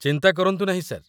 ଚିନ୍ତା କରନ୍ତୁ ନାହିଁ, ସାର୍।